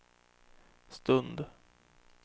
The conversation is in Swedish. stund